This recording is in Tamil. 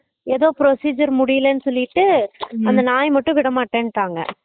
ஏதோ procedure முடியலைனு சொல்லிட்டு அந்த நாய் மட்டும் விட மாறமாட்டேன்டாங்க